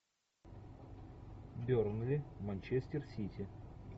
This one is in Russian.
бернли манчестер сити